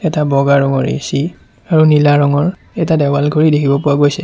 এটা বগা ৰঙৰ এ_চি আৰু নীলা ৰঙৰ এটা দেৱাল ঘড়ী দেখিব পোৱা হৈছে।